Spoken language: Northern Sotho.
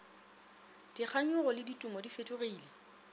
dikganyogo le ditumo di fetogile